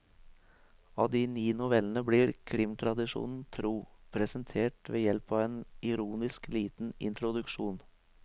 Alle de ni novellene blir, krimtradisjonen tro, presentert ved hjelp av en ironisk, liten introduksjon.